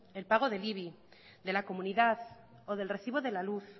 el pago del ibi de la comunidad o del recibo de la luz